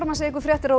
fréttir á